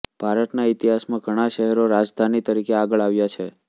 ભારતના ઇતિહાસ માં ઘણા શહેરો રાજધાની તરીકે આગળ આવ્યાં છે